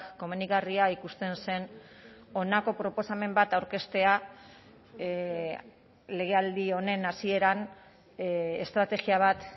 komenigarria ikusten zen honako proposamen bat aurkeztea legealdi honen hasieran estrategia bat